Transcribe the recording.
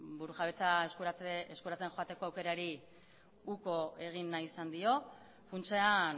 burujabetza eskuratzen joateko aukerari uko egin nahi izan dio funtsean